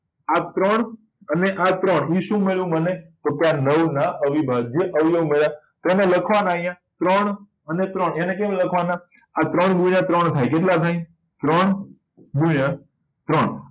આ ત્રણ અને આ ત્રણ થી શું મળ્યું મને તો કે આ નવ ના અવિભાજ્ય અવવાયવી મળ્યા તો એને લખવા ના અહિયાં ત્રણ અને ત્રણ એને કેમ લખવા ના આ ત્રણ ગુણ્યા ત્રણ થાય કેટલા થાય ત્રણ ગુણ્યા ત્રણ